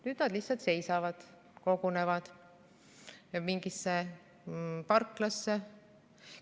Nüüd nad lihtsalt seisavad, kogunevad mingisse parklasse.